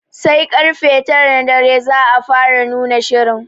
Sar karfe tara na dare za a fara nuna shirin.